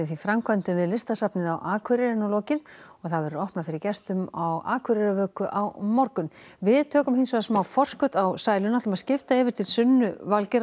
framkvæmdum við Listasafnið á Akureyri er nú lokið og það verður opnað fyrir gestum á Akureyrarvöku á morgun við tökum smá forskot á sæluna og skiptum yfir til Sunnu